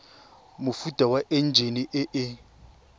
mofuta wa enjine e e